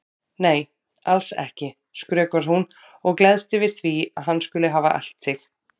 Nei, alls ekki, skrökvar hún og gleðst yfir því að hann skuli hafa elt sig.